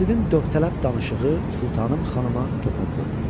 Qasidin dövtləb danışığı sultanım xanıma toxundu.